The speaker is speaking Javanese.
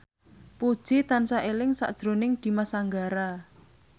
Puji tansah eling sakjroning Dimas Anggara